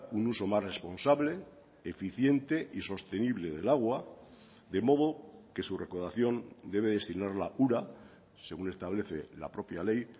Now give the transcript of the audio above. un uso más responsable eficiente y sostenible del agua de modo que su recaudación debe destinarla ura según establece la propia ley